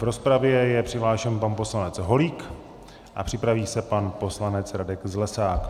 V rozpravě je přihlášen pan poslanec Holík a připraví se pan poslanec Radek Zlesák.